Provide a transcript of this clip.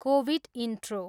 Covid intro.